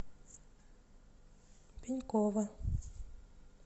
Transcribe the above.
пенькова